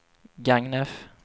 Gagnef